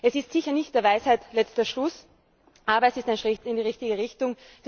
Es ist sicher nicht der Weisheit letzter Schluss, aber es ist ein Schritt in die richtige Richtung.